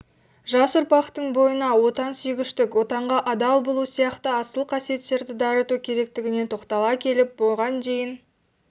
жас ұрпақтың бойына отансүйгіштік отанға адал болу сияқты асыл қасиеттерді дарыту керектігіне тоқтала келіп бұған дейін